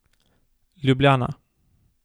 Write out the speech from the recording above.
Ljubljana.